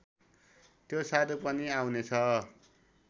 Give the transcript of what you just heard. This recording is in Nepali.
त्यो साधु पनि आउनेछ